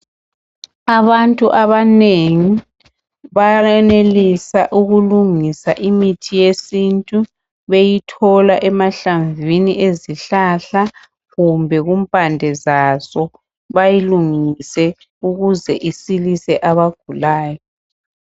Abantu abanengi bayenelisa ukulungisa imithi yesintu beyithola emahlamvini ezihlahla kumbe kumpande zaso bayilungise ukuze isilise abagulayo